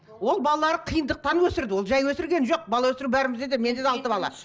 ол балалар қиындықтан өсірді ол жай өсірген жоқ бала өсіру бәрімізде де менде де алты бала